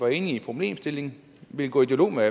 er enig i problemstillingen og vil gå i dialog med